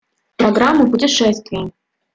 программу путешествий